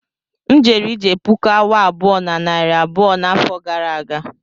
M jere ije puku awa abụọ na narị abụọ n'afọ gara aga